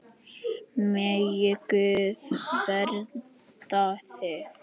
Megi Guð vernda þig.